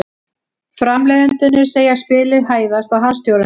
Framleiðendurnir segja spilið hæðast að harðstjórunum